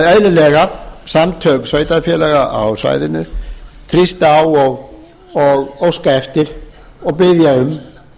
eðlilega samtök sveitarfélaga á svæðinu þrýsta á óska eftir og biðja um